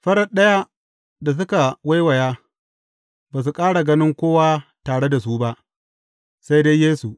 Farat ɗaya, da suka waiwaya, ba su ƙara ganin kowa tare da su ba, sai dai Yesu.